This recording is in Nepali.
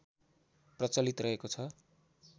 प्रचलित रहेको छ